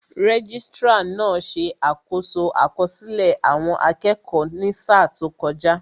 Registrar náà ṣe àkoso àkọsílẹ̀ àwọn akẹ́kọ̀ọ́ ní sáà tó kọjá